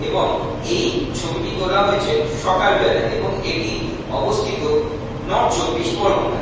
এবং এই ছবিটি তোলা হয়েছে সকাল বেলা এবং এটি অবস্থিত নর্থ চব্বিশ পরগনায়।